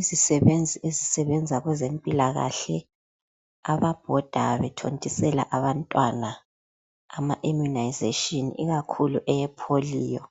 Isisebenzi esisebenza kwezempilakahle, ababhoda bethontisela abantwana ama imunayizeshini, ikakhulu eyepholiyo.